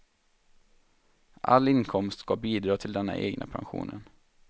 All inkomst ska bidra till den egna pensionen.